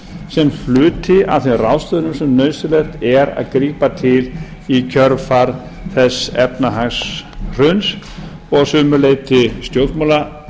sem hluti af þeim ráðstöfunum sem nauðsynlegt er að grípa til í kjölfar þess efnahagshruns og að sumu leyti